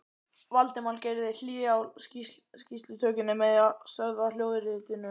Valdimar gerði hlé á skýrslutökunni með því að stöðva hljóðritunina.